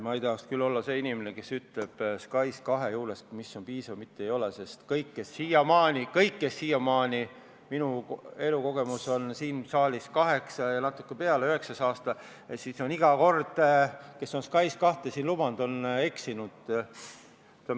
Ma ei tahaks küll olla see inimene, kes ütleb SKAIS2 juures, mis on piisav või mis ei ole, sest kõik, kes on siiamaani – minu elukogemus on siin saalis kaheksa aastat ja natuke peale, üheksas aasta läheb – siin SKAIS2 lubanud, on eksinud.